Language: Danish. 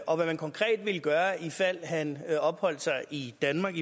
og hvad man konkret ville gøre i ifald at han opholdt sig i danmark